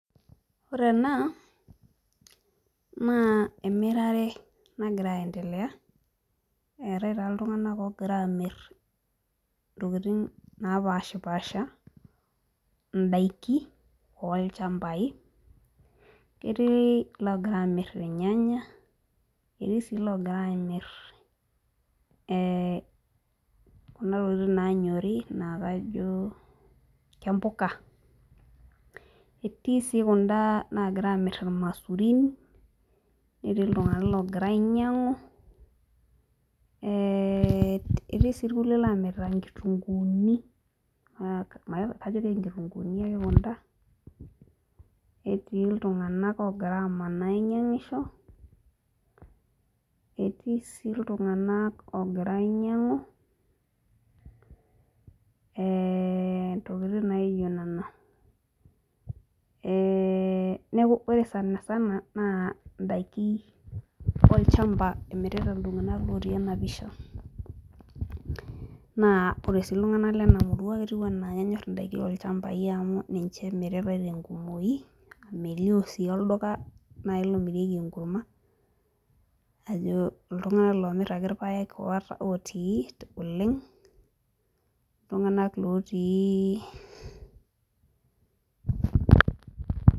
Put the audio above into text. Ore ena naa emirare nagira aendelea etae taa iltung'anak ogira amirr napashipasha indaiki olchambai ketii iloogira amirr irnyanya ketii sii ilogira amirr eh kuna tokitin nanyori naa kajo kempuka etii sii kunda nagira amirr irmasurin netii iltung'anak logira ainyiang'u eh etii sii irkulie lomirta inkitunguuni uh ma kajo kenkitunguuni ake kunda netii iltung'anak ogira amanaa ainyiang'isho etii sii iltung'anak ogira ainying'u eh ntokiting naijio nena eh neku ore sanasana naa indaiki olchamba emirita iltung'anak lotii ena pisha naa ore sii iltung'anak len murua ketiu enaa kenyorr indaiki olchambai amu ninche emiritae tenkumoki melio sii olduka nai lomirieki enkurma ajo iltung'anak lomirr ake irpayek ota otii oleng iltung'anak lotii.